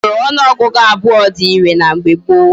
Usoro onuogugu abuo di ire na mgbe gboo